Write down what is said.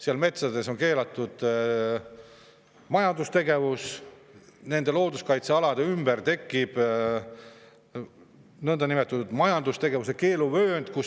Nendes metsades on keelatud majandustegevus ja nende looduskaitsealade ümber tekib nõndanimetatud majandustegevuse keeluvöönd.